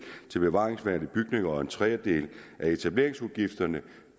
i bevaringsværdige bygninger og en tredjedel af etableringsudgifterne